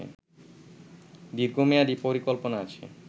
দীর্ঘ মেয়াদী পরিকল্পনা আছে